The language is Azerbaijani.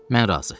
Mən razı.